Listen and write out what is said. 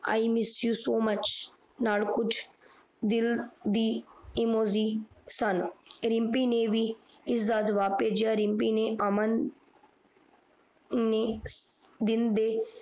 I miss you so much ਨਾਲ ਕੁਜ ਦਿਲ ਦੀ Emoji ਸਨ ਰਿਮਪੀ ਨੇ ਬੀ ਇਸਦਾ ਜਬਾਬ ਪੇਜਯਾ ਰਿਮਪੀ ਨੇ ਅਮਨ